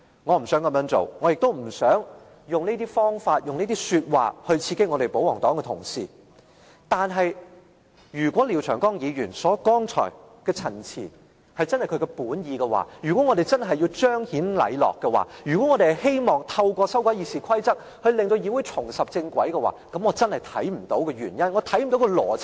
我不想這樣做，我也不想以這些方法和說話刺激保皇黨同事，但如果廖長江議員剛才的陳辭真的是他的本意，如果我們真的要彰顯禮樂，如果我們希望透過修改《議事規則》令議會重拾正軌，我真的看不到原因，看不到邏輯。